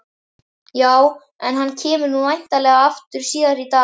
Já, en hann kemur nú væntanlega aftur síðar í dag.